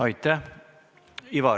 Aitäh!